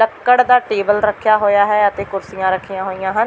ਲੱਕੜ ਦਾ ਟੇਬਲ ਰੱਖਿਆ ਹੋਇਆ ਹੈ ਅਤੇ ਕੁਰਸੀਆਂ ਰੱਖੀਆਂ ਹੋਈਆਂ ਹਨ।